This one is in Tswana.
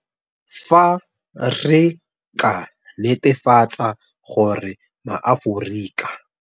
Fa re ka netefatsa gore maAforika.